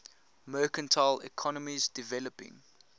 mercantile economies developing